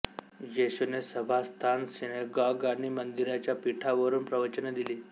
येशूने सभास्थान सिनेगॉग आणि मंदिराच्या पीठावरून प्रवचने दिली